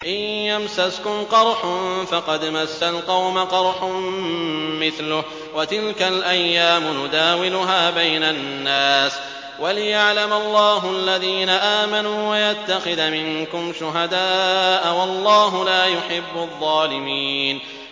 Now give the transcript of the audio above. إِن يَمْسَسْكُمْ قَرْحٌ فَقَدْ مَسَّ الْقَوْمَ قَرْحٌ مِّثْلُهُ ۚ وَتِلْكَ الْأَيَّامُ نُدَاوِلُهَا بَيْنَ النَّاسِ وَلِيَعْلَمَ اللَّهُ الَّذِينَ آمَنُوا وَيَتَّخِذَ مِنكُمْ شُهَدَاءَ ۗ وَاللَّهُ لَا يُحِبُّ الظَّالِمِينَ